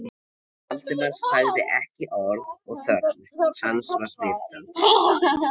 Valdimar sagði ekki orð og þögn hans var smitandi.